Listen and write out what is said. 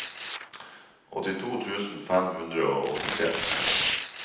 åttito tusen fem hundre og åttitre